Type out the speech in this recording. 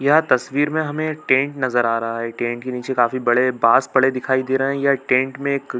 यह तस्वीर में हमें एक टेंट नज़र आ रहा है टेंट के नीचे काफी बड़े बांस पड़े दिखाई दे रहे है यह टेंट में एक--